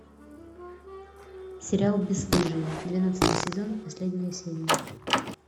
сериал бесстыжие двенадцатый сезон последняя серия